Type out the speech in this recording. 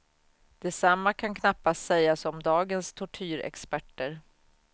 Detsamma kan knappast sägas om dagens tortyrexperter.